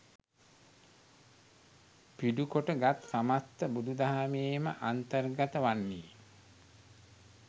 පිඩුකොට ගත් සමස්ත බුදුදහමේ ම අන්තර්ගත වන්නේ